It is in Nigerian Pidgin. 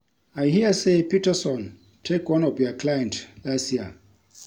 I hear say Peterson take one of your client last year